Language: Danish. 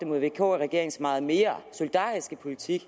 vk regeringens meget mere solidariske politik